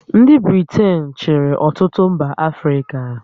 Ndị Britain chịrị ọtụtụ mba Africa